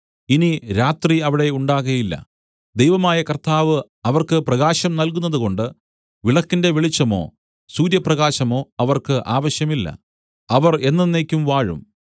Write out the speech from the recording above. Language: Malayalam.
ഇനി രാത്രി അവിടെ ഉണ്ടാകയില്ല ദൈവമായ കർത്താവ് അവർക്ക് പ്രകാശം നൽകുന്നതുകൊണ്ട് വിളക്കിന്റെ വെളിച്ചമോ സൂര്യപ്രകാശമോ അവർക്ക് ആവശ്യമില്ല അവർ എന്നെന്നേക്കും വാഴും